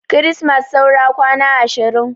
Kirismas saura kwana ashirin